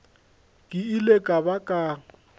ke ile ka ba ka